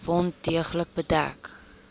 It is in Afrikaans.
wond deeglik bedek